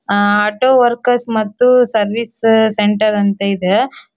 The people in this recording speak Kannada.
ಆಹ್ಹ್ ಆಟೋ ವರ್ಕರ್ಸ್ ಮತ್ತು ಸರ್ವಿಸ್ ಸೆಂಟರ್ ಅಂತ ಇದೆ.